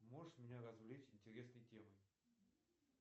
можешь меня развлечь интересной темой